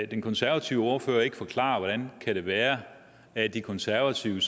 den konservative ordfører ikke forklare hvordan det kan være at de konservative